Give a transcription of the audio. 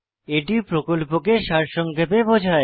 এটি প্রকল্পকে সারসংক্ষেপে বোঝায়